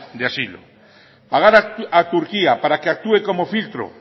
de asilo pagar a turquía para que actúe como filtro